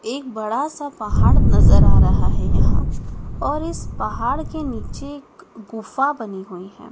एक बड़ा सा पहाड़ नजर आ रहा है यहां और इस पहाड़ के नीचे एक गुफा बनी हुई है।